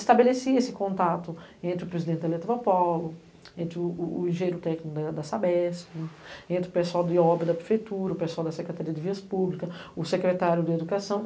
Estabelecia-se esse contato entre o presidente da Eletropolo, entre o engenheiro técnico da Sabesco, entre o pessoal de obra da prefeitura, o pessoal da Secretaria de Vias Públicas, o secretário de Educação.